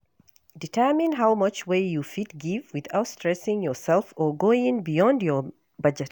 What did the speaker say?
Determine how much wey you fit give without stressing yourself or going beyound your budget